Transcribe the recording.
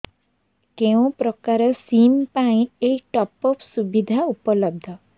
କେଉଁ ପ୍ରକାର ସିମ୍ ପାଇଁ ଏଇ ଟପ୍ଅପ୍ ସୁବିଧା ଉପଲବ୍ଧ